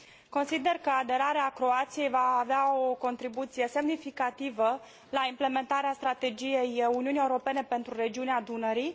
Consider că aderarea Croației va avea o contribuție semnificativă la implementarea Strategiei Uniunii Europene pentru regiunea Dunării.